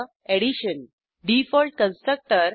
Addition default constructor